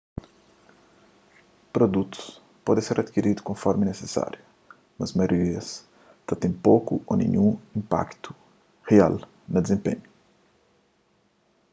produtus pode ser adikiridu konformi nisisáriu mas maioria ta ten poku ô ninhun inpaktu rial na dizenpenhu